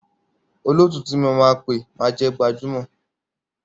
Olóòtú tí mo máa pé máa jẹ́ gbajúmọ̀.